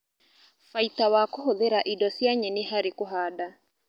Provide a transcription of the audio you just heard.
Baita wa a kũhũthĩra indo cia nyeni harĩ kũhanda